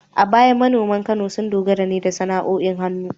A baya manoman Kano sun dogara ne da sana’o’in hannu